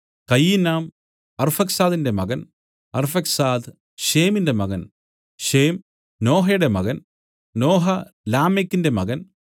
കയിനാൻ അർഫക്സാദിന്റെ മകൻ അർഫക്സാദ് ശേമിന്റെ മകൻ ശേം നോഹയുടെ മകൻ നോഹ ലാമേക്കിന്റെ മകൻ